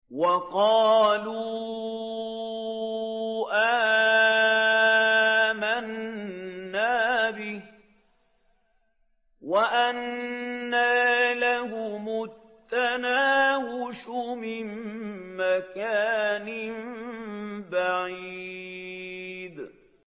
وَقَالُوا آمَنَّا بِهِ وَأَنَّىٰ لَهُمُ التَّنَاوُشُ مِن مَّكَانٍ بَعِيدٍ